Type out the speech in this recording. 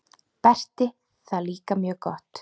Berti það líka mjög gott.